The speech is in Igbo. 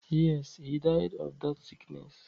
Yes, he died of that sickness.